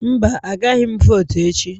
Mba, agaghị m votu echi